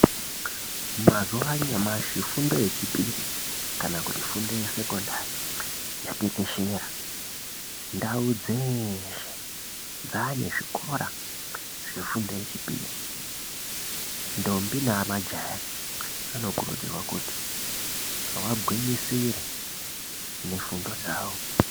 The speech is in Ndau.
Mazuwa anyamashi fundo yechipiri kana kuti fundo yesekondari yatekeshera. Ndau dzeeshe dzaane zvikora zvefundo yechipiri. Ndombi nemajaya vanokurudzirwa kuti vagwinyisire ,nefundo dzavo .